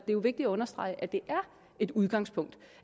vigtigt at understrege at det er et udgangspunkt og